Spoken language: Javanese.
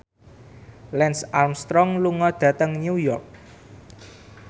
Lance Armstrong lunga dhateng New York